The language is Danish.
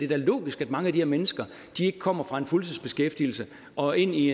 da logisk at mange af de her mennesker ikke kommer fra en fuldtidsbeskæftigelse og ind i